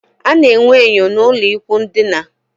A na enwe enyo n'ulo ikwụ ndina